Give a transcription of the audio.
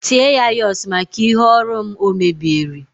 tie ya urs maka ihe ọrụ m o mebieri